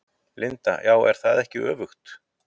Linda: Já, er það ekki öfugt?